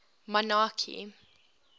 monarchy